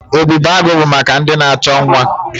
Ebubeagụ bụ maka ndị na-achọ nwa.